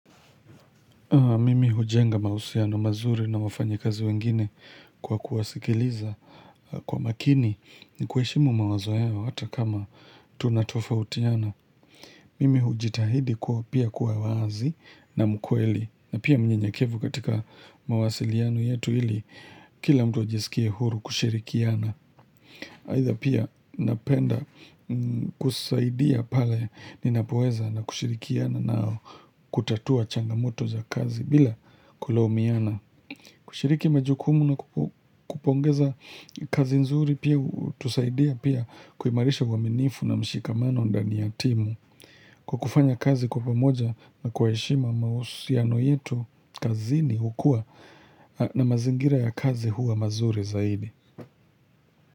Mimi hujenga mahusiano mazuri na wafanya kazi wengine kwa kuwasikiliza kwa makini ni kuheshimu mawazo yao hata kama tunatofautiana. Mimi hujitahidi kwao pia kuwa wazi na mkweli na pia mnyenyekevu katika mawasiliano yetu ili kila mtu ajisikie huru kushirikiana. Haidha pia napenda kusaidia pale ninapoweza na kushirikiana nao kutatua changamoto za kazi bila kulaumiana kushiriki majukumu na kupongeza kazi nzuri pia hutusaidia pia kuimarisha uaminifu na mshikamano ndani ya timu Kwa kufanya kazi kwa pamoja na kwa heshima mahusiano yetu kazini hukua na mazingira ya kazi huwa mazuri zaidi.